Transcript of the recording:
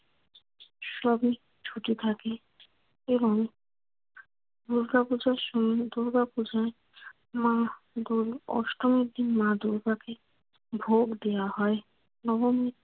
সবই ছুটি থাকে এবং দুর্গাপূজার সময় দুর্গাপূজোয় মা দূর অষ্টমীর দিন মা দুর্গাকে ভোগ দেওয়া হয়। নবমী